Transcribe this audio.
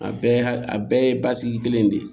A bɛɛ a bɛɛ ye basigi kelen de ye